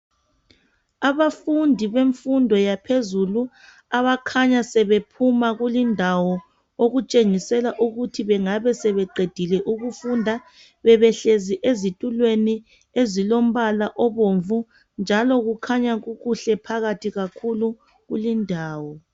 Abafundi bemfundo yaphezulu abakhanya sebephuma kulindawo. Okutshengisela ukuthi bengabe sebeqedile ukufunda. Bebehlezi ezitulweni ezilombala obomvu njalo kukhanya kukuhle phakathi kakhulu kulindawo.